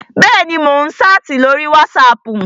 Bẹ́ẹ̀ni, mò ń ṣáàtì ní orí wátísapù